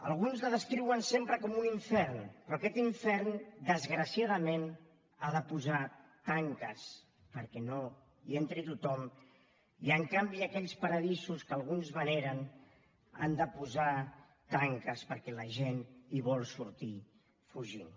alguns la descriuen sempre com a un infern però aquest infern desgraciadament ha de posar tanques perquè no hi entri tothom i en canvi aquells paradisos que alguns veneren han de posar tanques perquè la gent en vol sortir fugint